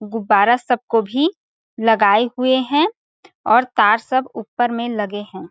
गुब्बारा सब को भी लगाए हुए है और तार सब ऊपर में लगे हैं ।